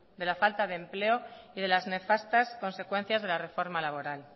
de la falta de empleo y de las nefastas consecuencias de la reforma laboral